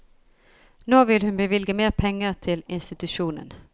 Nå vil hun bevilge mer penger til institusjonen.